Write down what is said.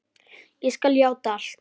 Ég skal játa allt.